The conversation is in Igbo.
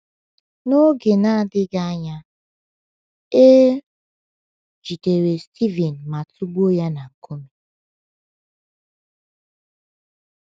N’oge na - adịghị anya, e jidere Stivin ma tụgbuo ya na nkume.